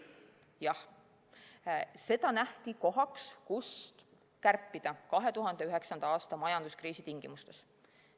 Jah, seda nähti kohana, kust kärpida 2009. aasta majanduskriisi tingimustes.